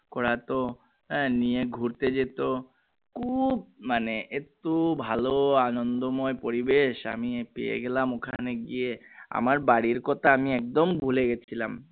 করতো আহ নিয়ে ঘুরেত যেত খুব মানে এতো ভালো আনন্দময় পরিবেশ আমি পেয়ে গেলাম ওখানে গিয়ে আমার বাড়ির কথা আমি একদম ভুলে গেছিলাম